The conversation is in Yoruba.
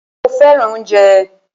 Mó fẹràn oúnjẹ.